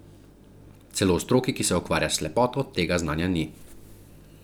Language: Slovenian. Celo v stroki, ki se ukvarja s slepoto, tega znanja ni.